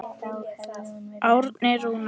Árni Rúnar.